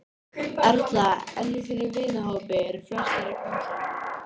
Erla: En í þínum vinahópi, eru flestir að kjósa?